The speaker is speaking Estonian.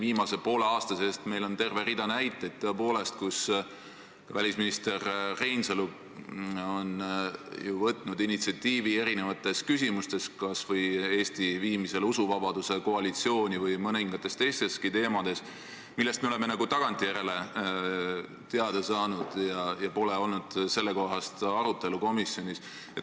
Viimase poole aasta seest võime leida terve rea näiteid selle kohta, kuidas välisminister Reinsalu on võtnud initsiatiivi erinevates küsimustes, kas või Eesti viimisel usuvabaduse koalitsiooni ja mõningatel teistelgi teemadel, millest me oleme tagantjärele teada saanud ja mille kohta komisjonis pole arutelu olnud.